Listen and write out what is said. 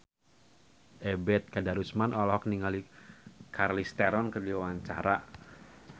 Ebet Kadarusman olohok ningali Charlize Theron keur diwawancara